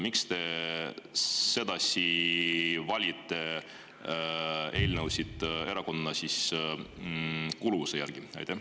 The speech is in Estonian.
Miks te sedasi valite eelnõusid – erakondliku kuuluvuse järgi?